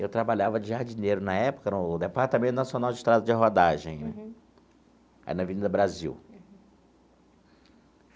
Eu trabalhava de jardineiro na época, no Departamento Nacional de Estradas de Rodagem, aí na Avenida Brasil.